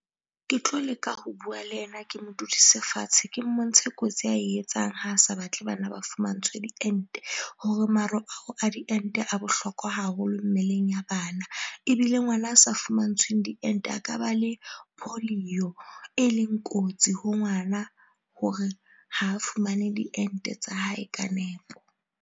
Ke tlo leka ho bua le yena, Ke mo dudise fatshe Ke mmontshe kotsi ae etsang ha a sa batle Bana Ba fumantshwe diente hore maro ao a diente a bohlokwa haholo mmeleng ya batho ana ebile ngwana a sa fumantshwe diente a ka ba le policy e leng kotsi ho ngwana hore ho fumane diente tsa hae ka nepo. Ng